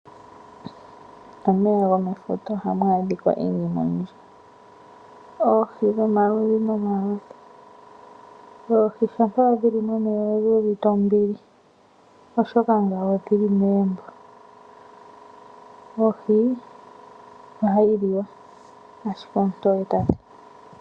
Momeya gomefuta ohamu adhika iinima oyindji, oohi dhomaludhi nomaludhi. Oohi shampa dhili momeya odhuuvite ombili oshoka odhili megumbo. Oohi ohayi liwa ashike ontoye.